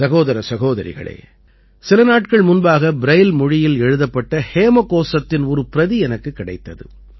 சகோதர சகோதரிகளே சில நாட்கள் முன்பாக ப்ரைல் மொழியில் எழுதப்பட்ட ஹேமகோசத்தின் ஒரு பிரதி எனக்குக் கிடைத்தது